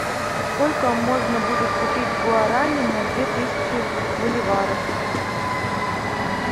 сколько можно будет купить гуарани на две тысячи боливаров